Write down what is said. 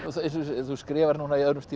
þú skrifar núna í öðrum stíl